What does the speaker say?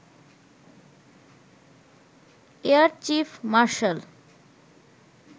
air chief martial